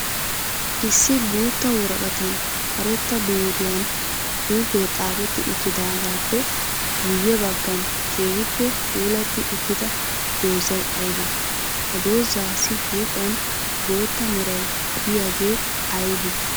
Issi guutta woraqattan karetta biiriyan xuufe xaafetti uttidaagappe guye bagan keehippe puulatti uttidda doozay aybe? Ha doozaasi huuphphiyan bootta meray de'iyooge aybe?